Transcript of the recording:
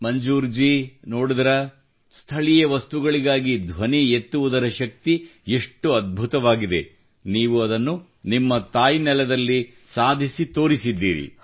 ಮಂಜೂರ್ ಜೀ ನೋಡಿದಿರಾ ಸ್ಥಳೀಯ ವಸ್ತುಗಳಿಗಾಗಿ ಧ್ವನಿ ಎತ್ತುವುದರ ಶಕ್ತಿ ಎಷ್ಟು ಅದ್ಭುತವಾಗಿದೆ ನೀವು ಅದನ್ನು ನಿಮ್ಮ ತಾಯ್ನೆಲದಲ್ಲಿ ಸಾಧಿಸಿ ತೋರಿಸಿದ್ದೀರಿ